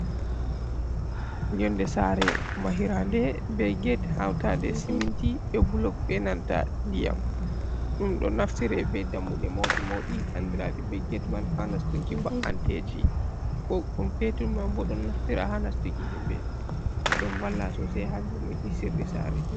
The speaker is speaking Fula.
Yonde sare mahira nde be gate hauta nde siminti be bulog be nanta ndiyam, ɗum ɗo naftire be dammude mauɗi mauɗi andiraɗi be gate man ha nastuki ba’anteji ko ɗum petun man bo don naftira ha nastuki himɓe ɗum ɗon valla sosei har virnuki sirri sare.